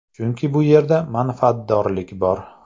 Chunki bu yerda manfaatdorlik bor.